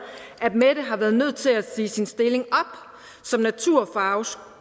at mette har været nødt til at sige sin stilling som naturfaglærer